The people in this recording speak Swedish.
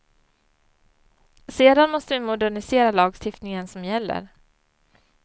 Sedan måste vi modernisera lagstiftningen som gäller.